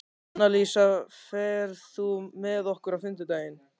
Annalísa, ferð þú með okkur á fimmtudaginn?